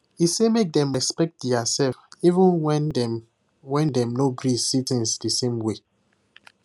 he say make dem respect diasef even when dem when dem no gree see things the same way